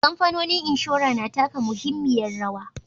Kamfanonin inshora na taka muhimmiyar rawa.